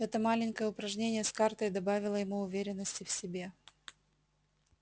это маленькое упражнение с картой добавило ему уверенности в себе